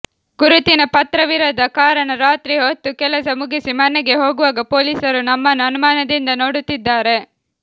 ಗುರುತಿನ ಪತ್ರವಿರದ ಕಾರಣ ರಾತ್ರಿ ಹೊತ್ತು ಕೆಲಸ ಮುಗಿಸಿ ಮನೆಗೆ ಹೋಗುವಾಗ ಪೊಲೀಸರು ನಮ್ಮನ್ನು ಅನುಮಾನದಿಂದ ನೋಡುತ್ತಿದ್ದಾರೆ